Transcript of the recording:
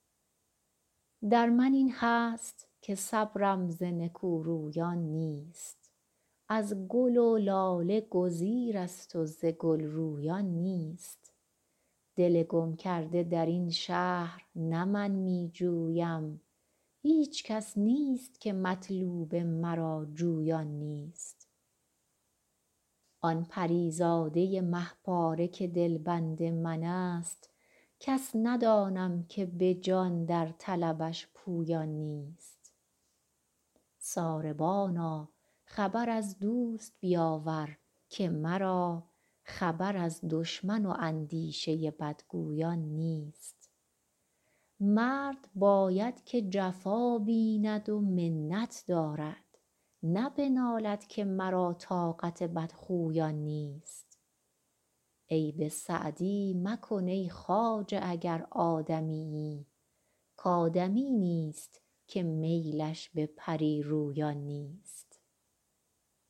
در من این هست که صبرم ز نکورویان نیست از گل و لاله گزیرست و ز گل رویان نیست دل گم کرده در این شهر نه من می جویم هیچ کس نیست که مطلوب مرا جویان نیست آن پری زاده مه پاره که دلبند من ست کس ندانم که به جان در طلبش پویان نیست ساربانا خبر از دوست بیاور که مرا خبر از دشمن و اندیشه بدگویان نیست مرد باید که جفا بیند و منت دارد نه بنالد که مرا طاقت بدخویان نیست عیب سعدی مکن ای خواجه اگر آدمیی کآدمی نیست که میلش به پری رویان نیست